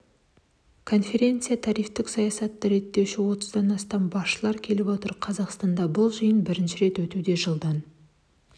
конференциясына тарифтік саясатты реттеуші отыздан астам басшылар келіп отыр қазақстанда бұл жиын бірінші рет өтуде жылдан